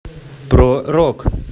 про рок